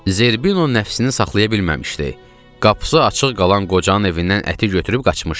Zerbino nəfsini saxlaya bilməmişdi, qapısı açıq qalan qocanın evindən əti götürüb qaçmışdı.